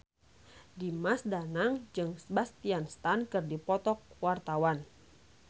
Dimas Danang jeung Sebastian Stan keur dipoto ku wartawan